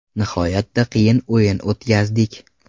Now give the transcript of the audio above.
Nihoyatda qiyin o‘yin o‘tkazdik.